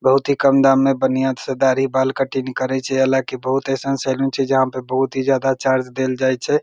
बहुत ही काम दाम में बढ़िया से दाढ़ी बाल काटिनिंग करे छै हलाकि बहुत ऐशन सेलोन छै जहां पे बहुत ही जादा चार्ज देल जा छै।